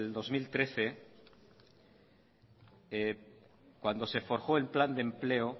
dos mil trece cuando se forjó el plan de empleo